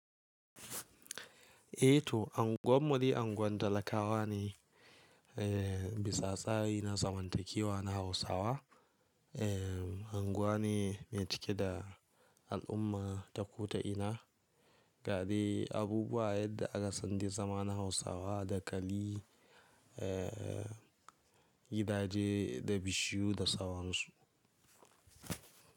Eh, to unguwarmu dai unguwar talakawa ne, eh bisa tsari na zamantakewa na hausawa. Ehn unguwa ne mai cike da al'umma ta ko ta ina, gadai, abubuwa yadda aka san dai zama na Hausawa dakali, eh gidaje da bishiyu da saransu.